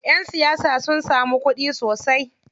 Ƴan siyasa sun samun kuɗi sosai.